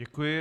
Děkuji.